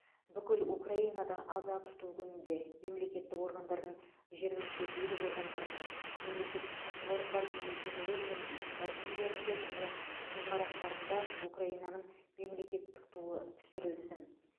бүкіл украинада аза тұту күнінде мемлекеттік органдардың жергілікті билік органдарының мемлекеттік кәсіпорындардың мекемелер мен ұйымдардың үйлерінде және ғимараттарында украинаның мемлекеттік туы түсірілсін